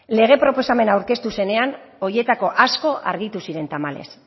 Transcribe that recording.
lege proposamena aurkeztu zenean horietako asko argitu ziren tamalez